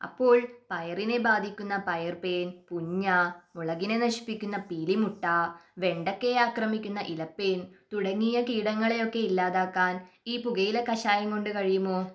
അപ്പോൾ പയറിനെ ബാധിക്കുന്ന പയർ പേൻ, പുഞ്ഞ മുളകിനെ നശിപ്പിക്കുന്ന പീലി മുട്ട വെണ്ടക്കയെ ആക്രമിക്കുന്ന ഇലപ്പേൻ തുടങ്ങിയ കീടങ്ങളെയൊക്കെ ഇല്ലാതാക്കാൻ ഈ പുകയില കഷായം കൊണ്ട് കഴിയുമോ?